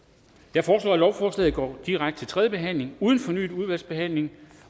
jeg foreslår at lovforslaget går direkte til tredje behandling uden fornyet udvalgsbehandling